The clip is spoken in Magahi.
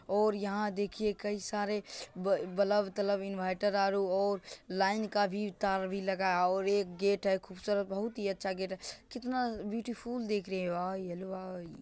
और यहाँ देखिये कई सारे बा --बलब तलब इनवर्टर आरो लाइन का भी तार भी लगा है और एक गेट है खूबसूरत बहुत ही अच्छा गेट है कितना ब्यूटीफुल दिख रही है वाह येलो वाह --